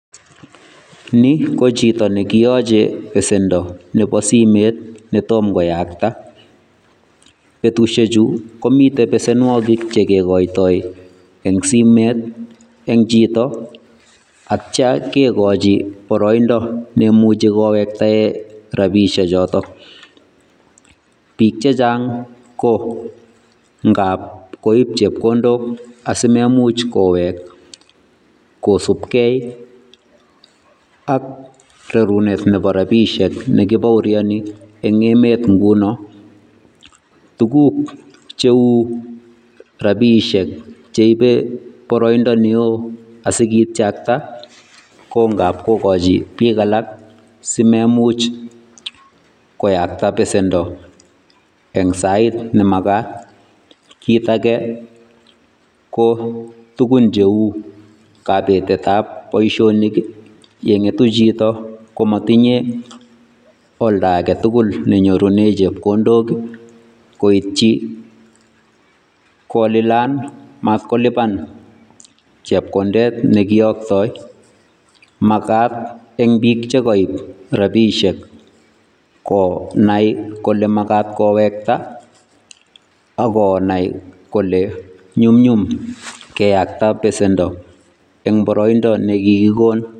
Ni ko chito ne kiyoche besendo nebo simet netom koyakta. Betushechu komite besenwokik chegekoitoi eng' simet eng' chito akcha kegochi boroindo nemuchi kowektae rabishek choto. Biik chechang' ko ngab koib chepkondok asimemuch kowek kosubkei ak rerunet nebo rabishek nekibaurioni eng' emet nguno. Tuguk cheu rabiishek cheibe boroindo neo asikichakta ko ngab kogochi biik alak simemuch koyakta besendo eng' sait ne magat. Kit age ko tugun cheu kabetet ab boisionik ye ng'etu chito komatinye olda age tugul nenyorune chepkondok ii koitchi kolilan mat kolipan chepkondet ne kiyoktoi. Magat eng' biik che kaib rabishek ko nai kole magat kowekta akonai kole nyumnyum keyakta besendo eng' boroindo ne kigikon.